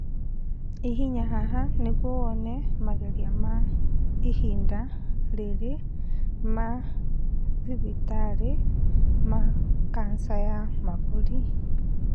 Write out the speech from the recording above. Hihinya haha nĩguo wone mageria ma ihinda rĩrĩ ma thibitari ma kanja ya mahũri.